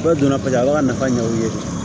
Dɔw donna paseke a b'a ka nafa ɲɛ o ye